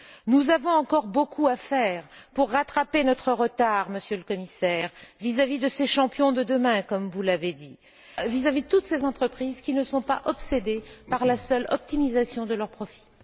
Nous avons encore beaucoup à faire pour rattraper notre retard, Monsieur le Commissaire, vis à vis de ces champions de demain, comme vous l'avez dit, vis à vis de toutes ces entreprises qui ne sont pas obsédées par la seule optimisation de leurs profits.